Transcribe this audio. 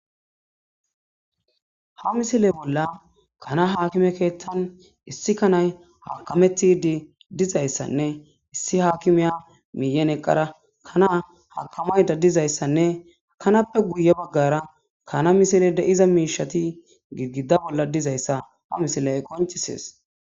ha misile bolla kana haakime keettan issi kanay haakametidi dizayssanne issi hakimiya miiyen eqqara kanaa hakamayda dizayssanne kanappe guye baggara kana misile de7iza miishati gigida bolla dizayssa ha misiley qoncisees